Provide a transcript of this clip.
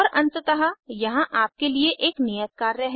और अंततः यहाँ आपके लिए एक नियत कार्य है